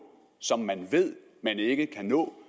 som man ved man ikke kan nå